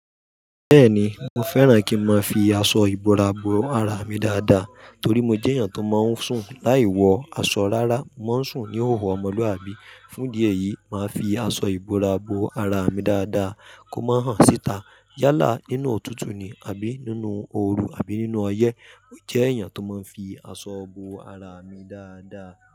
Bẹ́ẹ̀ni, mo fẹ́ràn kí n máa fi aṣọ ìbora bo ara mi dáadáa torí mo jẹ́ èèyàn tó máa ń sùn. Láì wọ aṣọ rárá, mo ń sùn ní hòhò ọmọlúàbí. Fún idi eyi, màá fi aṣọ ìbora bo ara mi dáadáa kó má hàn síta yálà nínú òtútù ni àbí nínú ooru àbí nínú ọyẹ́. Jẹ́ èèyàn tó máa ń fi aṣọ bo ara mi dáadáa.